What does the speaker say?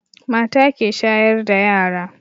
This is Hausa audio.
Mata ke shayar da yara